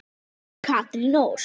Björg Rún og Katrín Ósk.